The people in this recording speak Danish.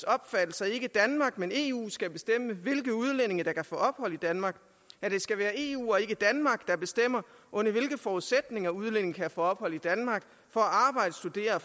opfattelse at ikke danmark men eu skal bestemme hvilke udlændinge der kan få ophold i danmark at det skal være eu og ikke danmark der bestemmer under hvilke forudsætninger udlændinge kan få ophold i danmark for at arbejde studere